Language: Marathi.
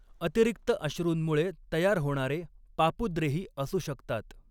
अतिरिक्त अश्रूंमुळे तयार होणारे पापुद्रेही असू शकतात.